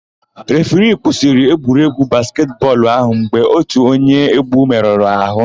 Refiri kwụsịrị egwuregwu basketị bọọlụ áhụ̀ mgbe ótù onye égwú merụrụ àhụ́.